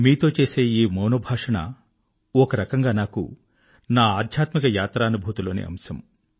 మీతో చేసే ఈ మౌనభాషణము ఒక రకంగా నాకు నా స్పిరిచ్యుయల్ యాత్రానుభూతి లోని అంశం